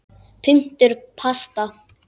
Punktur basta!